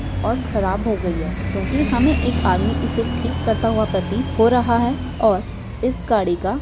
और खराब हो गई है क्यूंकि हमें एक आदमी इसे ठीक करता हुआ प्रतीत हो रहा है और इस गाड़ी का --